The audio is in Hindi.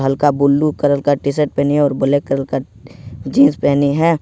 हल्का ब्लू कलर का टी शर्ट पहनी है और ब्लैक कलर का जींस पहनी है।